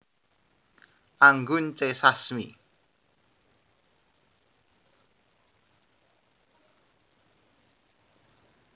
Anggun C Sasmi